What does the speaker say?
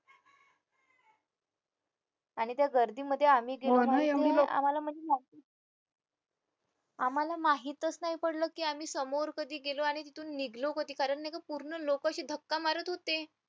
आणि त्या गर्दीमध्ये आम्ही आम्हाला माहीतच नाही पडलं की आम्ही समोर कधी गेलो आणि तिथून निघालो कधी कारण नाही का पूर्ण लोक अशी धक्का मारत होती